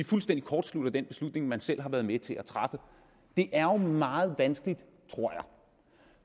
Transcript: fuldstændig kortslutter den beslutning man selv har været med til at træffe det er jo meget vanskeligt tror jeg